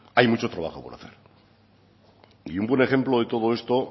hay mucho trabajo por hacer y un buen ejemplo de todo esto